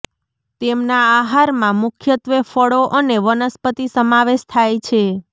તેમના આહારમાં મુખ્યત્વે ફળો અને વનસ્પતિ સમાવેશ થાય છે